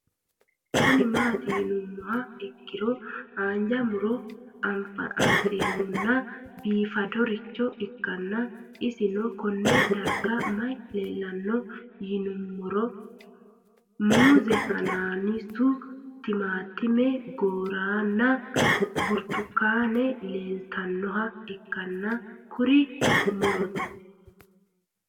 Kuni mati yinumoha ikiro hanja murowa afine'mona bifadoricho ikana isino Kone darga mayi leelanno yinumaro muuze hanannisu timantime gooranna buurtukaane leelitoneha ikanna kurino murote